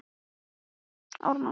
Elma, hefur þú prófað nýja leikinn?